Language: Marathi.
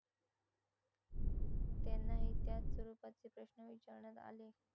त्यांनाही त्याच स्वरूपाचे प्रश्न विचारण्यात आले.